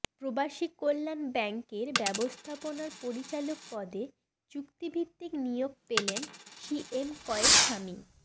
প্রবাসীকল্যাণ ব্যাংকের ব্যবস্থাপনা পরিচালক পদে চুক্তিভিত্তিক নিয়োগ পেলেন সি এম কয়েস সামি